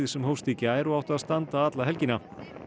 sem hófst í gær og átti að standa alla helgina